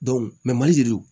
mali